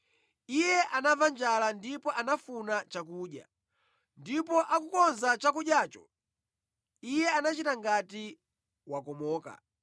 Iye anamva njala ndipo anafuna chakudya, ndipo akukonza chakudyacho, iye anachita ngati wakomoka.